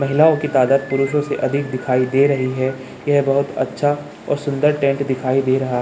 महिलाओं की तादाद पुरुषों से अधिक दिखाई दे रही हैं यह बहुत अच्छा और सुंदर टेंट दिखाई दे रहा --